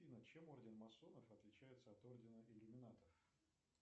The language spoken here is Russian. афина чем орден масонов отличается от ордена иллюминатов